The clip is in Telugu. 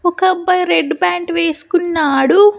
ఒక అబ్బాయ్ రెడ్ ప్యాంట్ వేసుకున్నాడు.